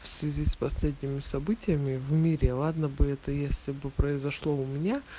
в связи с последними событиями в мире ладно бы это если бы произошло у меня